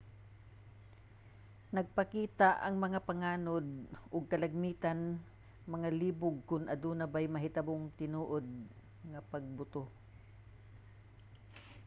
nagpakita ang mga panganod og kalagmitan nga malibog kon aduna bay nahitabong tinuod nga pagbuto